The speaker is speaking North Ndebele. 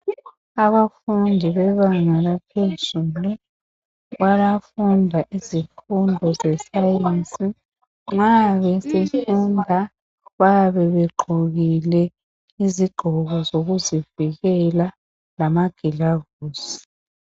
Abafundi bebanga laphezulu bayafunda izifundo ze science, nxa befunda bayabe begqokile izigqoko zokuzivikela lama gloves.